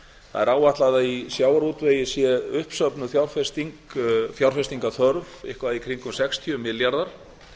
er áætlað að í sjávarútvegi sé uppsöfnuð fjárfestingarþörf eitthvað í kringum sextíu milljarðar